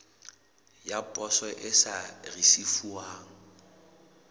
ya poso e sa risefuwang